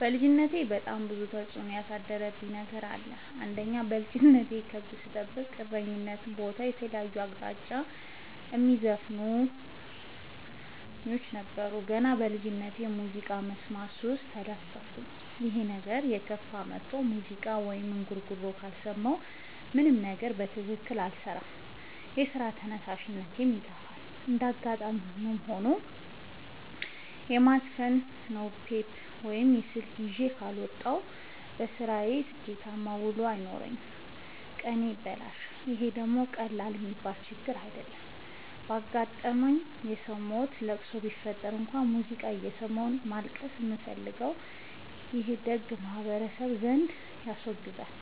በልጅነቴ በጣም ብዙ ተጽዕኖ ያሳደረብኝ ነገር አለ። አንደኛ በልጅነቴ ከብት ስጠብቅ እረኝነት ቦታ ከተለያየ አቅጣጫ የሚዘፍኑ እሰኞች ስለነበሩ። ገና በልጅነቴ በሙዚቃ መስማት ሱስ ተለከፍኩኝ ይህ ነገርም እየከፋ መጥቶ ሙዚቃ ወይም እንጉርጉሮ ካልሰማሁ ምንም ነገር በትክክል አልሰራም የስራ ተነሳሽነቴ ይጠፋል። እንደጋጣሚ ሆኖ የማዘፍ ነው ቴፕ ወይም ስልክ ይዤ ካልወጣሁ። በስራዬ ስኬታማ ውሎ አይኖረኝም ቀኔ ይበላሻል ይህ ደግሞ ቀላል የሚባል ችግር አይደለም። አጋጣም ሰው ሞቶ ለቅሶ ቢፈጠር እንኳን ሙዚቃ እየሰማሁ ነው ማልቀስ የምፈልገው ይህ ደግሞ በማህበረሰቡ ዘንድ ያስወግዛል።